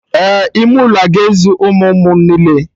Ee, ime ụlọ ga-ezu ụmụ ụmụ niile